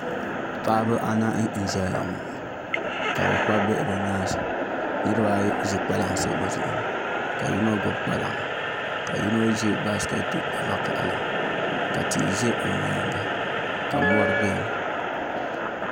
Paɣaba anahi n ʒɛya ŋɔ ka bi kpabi bihi bi nyaansi niraba ayi ʒi kpalansi bi zuɣu ni ka yino gbubi kpalaŋa ka yino ʒi baskɛti vakaɣali ka tia ʒɛ o nyaanga ka mori biɛni